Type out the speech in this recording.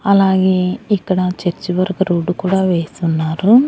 అలాగే ఇక్కడ చర్చి వరకు రోడ్డు కూడా వేసున్నారు.